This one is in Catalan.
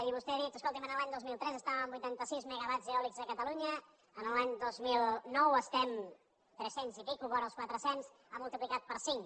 i vostè ha dit escolti’m l’any dos mil tres estàvem en vuitantasis megawatts eòlics a catalunya l’any dos mil nou estem en trescents i escaig vora els quatrecents ha multiplicat per cinc